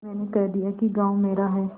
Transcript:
मैंने कह दिया कि गॉँव मेरा है